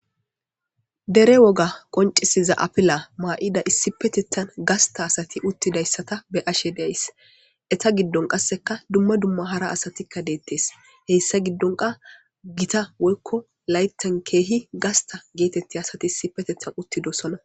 Dere woga qoncisiza afila mayida issipetethan uttida gasta asata be'ays. Eeta giddon qasse kehi gita asata be'ays. Eeta giddon laythan keehippe gasta gidida asati de'osona.